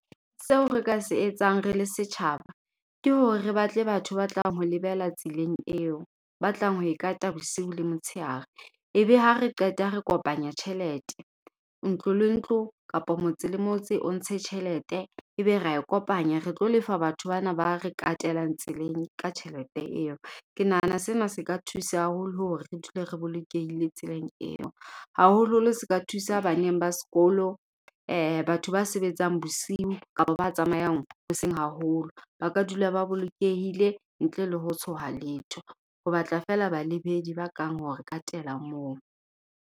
Seo re ka se etsang, re le setjhaba. Ke hore re batle batho ba tlang ho lebela tseleng eo. Ba tlang ho e kata bosiu le motsheare. E be ha re qeta, re kopanya tjhelete. Ntlo le ntlo kapa motse le motse o ntshe tjhelete. E be ra e kopanya. Re tlo lefa batho ba na ba re katelang tseleng, ka tjhelete eo. Ke nahana sena se ka thusa haholo hore re dule re bolokehile tseleng eo. Haholoholo se ka thusa ba neng ba sekolo, batho ba sebetsang bosiu kapa ba tsamayang hoseng haholo. Ba ka dula ba bolokehile, ntle le ho tshoha letho. Ho batla fela balebedi ba tlang hore katela moo.